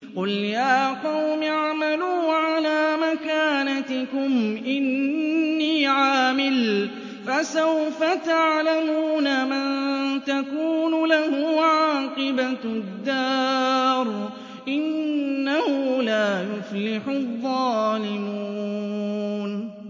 قُلْ يَا قَوْمِ اعْمَلُوا عَلَىٰ مَكَانَتِكُمْ إِنِّي عَامِلٌ ۖ فَسَوْفَ تَعْلَمُونَ مَن تَكُونُ لَهُ عَاقِبَةُ الدَّارِ ۗ إِنَّهُ لَا يُفْلِحُ الظَّالِمُونَ